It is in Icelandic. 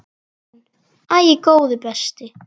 Hún: Æi, góði besti.!